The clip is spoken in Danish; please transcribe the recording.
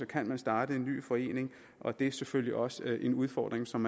kan starte en ny forening og det er selvfølgelig også en udfordring som